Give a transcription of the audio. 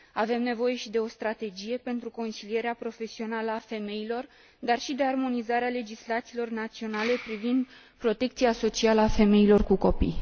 Avem nevoie și de o strategie pentru consilierea profesională a femeilor, dar și de armonizarea legislațiilor naționale privind protecția socială a femeilor cu copii.